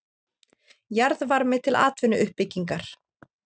Jarðvarmi til atvinnuuppbyggingar